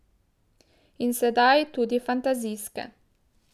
In sedaj tudi fantazijske.